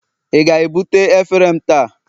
ị ga-ebute efere m taa?